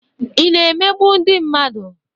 Ị na-emegbu ndị mmadụ?